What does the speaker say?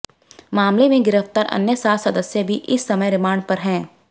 मामले में गिरफ्तार अन्य सात सदस्य भी इस समय रिमांड पर है